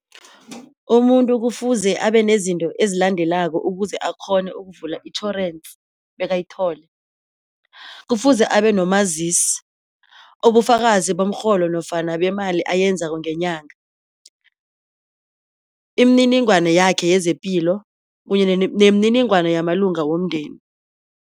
Umuntu kufuze abenezinto ezilandelako ukuze akghone ukuvula itjhorense bekayitholi. Kufuze abenomazisi, ubufakazi barhola nofana beemali ayenzako ngenyanga, imininingwana yakhe yezepilo kunye nemininingwana yamalungu womndeni.